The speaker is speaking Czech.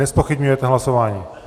Nezpochybňujete hlasování?